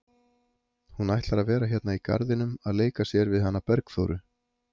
Hún ætlar að vera hérna í garðinum að leika sér við hana Bergþóru.